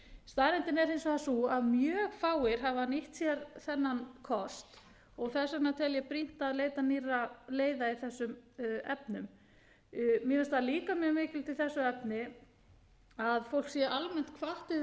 staðreyndin er hins vegar sú að mjög fáir hafa nýtt sér þennan kost og þess vegna tel ég brýnt að leita nýrra leiða í þessum efnum mér finnst það líka mjög mikilvægt í þessu efni að fólk sé almennt hvatt til þess að íhuga hvort það